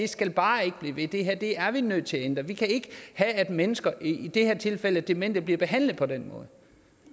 skal bare ikke blive ved det er vi nødt til at ændre vi kan ikke have at mennesker i det her tilfælde demente bliver behandlet på den måde